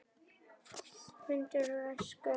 Myndir úr æsku.